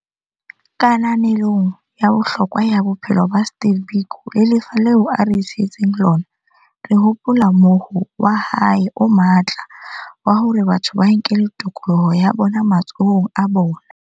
Kananelong ya bohlokwa ba bophelo ba Steve Biko le lefa leo a re sietseng lona, re hopola mohoo wa hae o matla wa hore batho ba nkele tokoloho ya bona matsohong a bona.